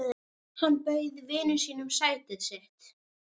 Hann bauð vininum sætið sitt.